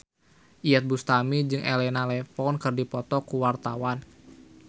Iyeth Bustami jeung Elena Levon keur dipoto ku wartawan